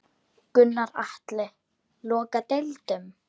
Gunnar Atli: Loka deildum?